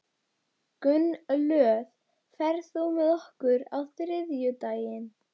Gunnlöð, ferð þú með okkur á þriðjudaginn?